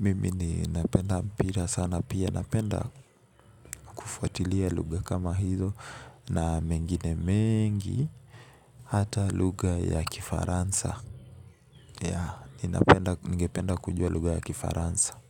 mimi ninapenda mpira sana pia napenda kufuatilia lugha kama hizo na mengine mengi hata lugha ya kifaransa ya ningependa kujua lugha ya kifaransa.